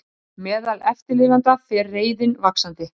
Meðal eftirlifenda fer reiðin vaxandi